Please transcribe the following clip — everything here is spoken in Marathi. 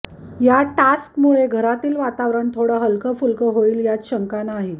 या टास्कमुळे घरातील वातावरण थोडं हलकफुलकं होईल यात शंका नाही